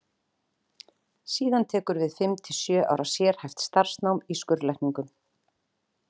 Síðan tekur við fimm til sjö ára sérhæft starfsnám í skurðlækningum.